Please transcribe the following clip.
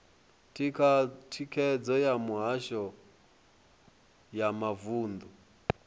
thikhedzo ya mihasho ya mavunḓu